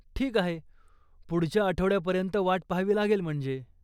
ठीक आहे, पुढच्या आठवड्यापर्यंत वाट पहावी लागेल म्हणजे.